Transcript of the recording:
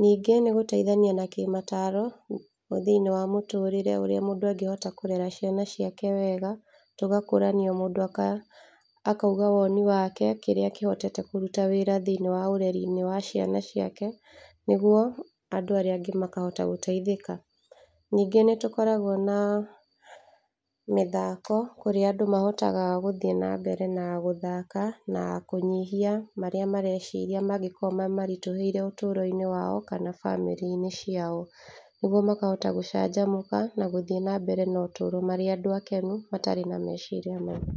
ningĩ nĩ gũteithania na kĩmataro thĩiniĩ wa mũtũrĩre ũrĩa mũndũ angĩhota kũrera ciana ciake wega, tũgakũrania mũndũ akauga woni wake kĩrĩa kĩhotete kũruta wĩra thĩiniĩ wa ũreri wa ciana ciake, nĩguo andũ arĩa angĩ makahota gũteithĩka, ningĩ nĩ tũkoragwo na mĩthako, kũrĩa andũ mahotaga gũthiĩ na mbere na gũthaka na kũnyihia marĩa mareciria mangĩkorwo mamaritũhĩire ũtũro-inĩ wao kana bamĩrĩ-inĩ ciao, nĩguo makahota gũcanjamũka na gũthiĩ na mbere na ũtũro marĩ akenu matarĩ na meciria maingĩ.